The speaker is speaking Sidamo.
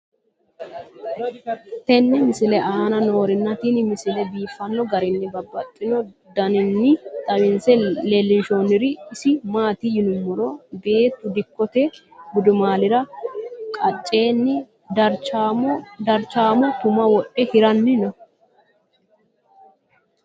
tenne misile aana noorina tini misile biiffanno garinni babaxxinno daniinni xawisse leelishanori isi maati yinummoro beettu dikkotte gudummaallira qacceenni darichaammo tumma wodhe hiranni noo.